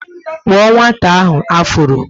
Kpuo nwata ahụ afuro!